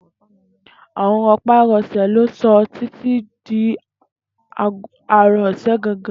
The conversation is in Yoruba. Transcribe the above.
Àrùn ro̩pá-ro̩sè̩ ló so̩ Titi di aro̩ ò̩sán gangan